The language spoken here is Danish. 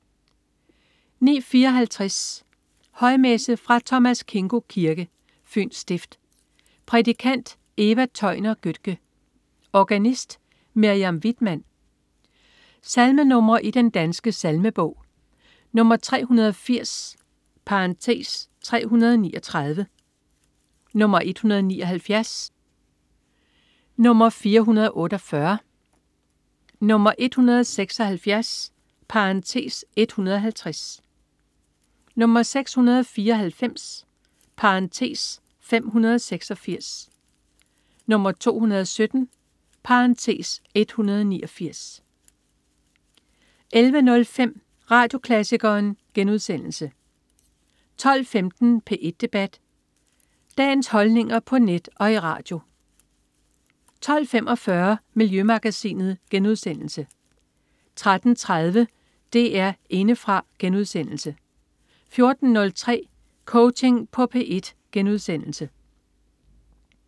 09.54 Højmesse. Fra Thomas Kingos Kirke, Fyns Stift. Prædikant: Eva Tøjner Götke. Organist: Miriam Widmann. Salmenr. i Den Danske Salmebog: 380 (339), 179, 448, 176 (150), 694 (586), 217 (189) 11.05 Radioklassikeren* 12.15 P1 Debat. Dagens holdninger på net og i radio 12.45 Miljømagasinet* 13.30 DR Indefra* 14.03 Coaching på P1*